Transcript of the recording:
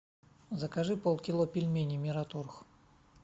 закажи полкило пельменей мираторг